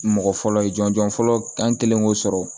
Mɔgɔ fɔlɔ ye jɔnjɔn fɔlɔ an kɛlen k'o sɔrɔ